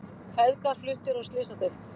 Feðgar fluttir á slysadeild